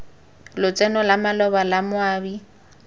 lotseno la maloba la moabi